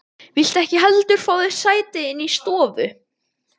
Viltu ekki heldur fá þér sæti inni í stofu?